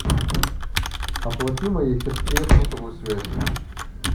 оплати моей сестре сотовую связь